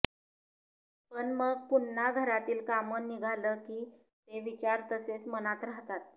पण मग पुन्हा घरातील काम निघालं की ते विचार तसेच मनात राहतात